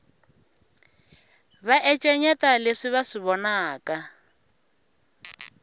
va encenyeta leswi va swi vonaka